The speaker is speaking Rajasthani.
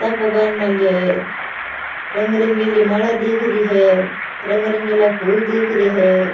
साफाे बांध मेल्यो है रंग रंगीली माला दीख री है रंग रंगीला फूल दीख रे है।